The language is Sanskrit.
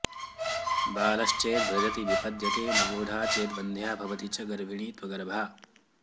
बालश्चेद्व्रजति विपद्यते नवोढा चेद्वन्ध्या भवति च गर्भिणी त्वगर्भा